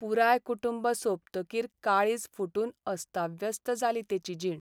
पुराय कुटुंब सोंपतकीर काळीज फुटून अस्ताव्यस्त जाली तेची जीण.